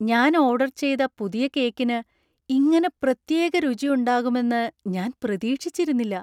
ഞാൻ ഓർഡർ ചെയ്ത പുതിയ കേക്കിന് ഇങ്ങനെ പ്രത്യേക രുചി ഉണ്ടാകുമെന്ന് ഞാൻ പ്രതീക്ഷിച്ചിരുന്നില്ല!